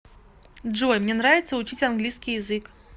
джой мне нравится учить английский язык